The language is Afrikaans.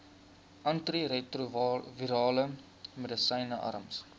antiretrovirale medisyne arms